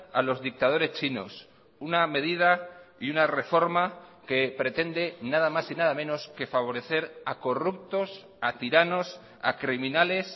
a los dictadores chinos una medida y una reforma que pretende nada más y nada menos que favorecer a corruptos a tiranos a criminales